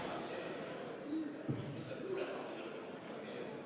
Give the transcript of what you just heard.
Palun tuua hääletamiskast saali!